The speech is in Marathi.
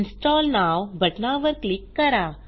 इन्स्टॉल नोव बटनावर क्लिक करा